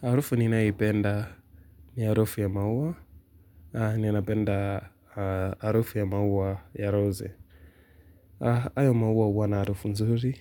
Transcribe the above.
Harufu ninaipenda ni harufu ya maua, ninapenda harufu ya maua ya rose. Hayo maua huwa na harufu nzuri,